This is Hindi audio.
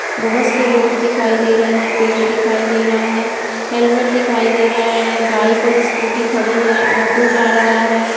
बहोत से लोग दिखाई दे रहे हैं पेड़ दिखाई दे रहा है हेलमेट दिखाई दे रहा है बाइक और स्कूटी खड़ी है ऑटो जा रहा है।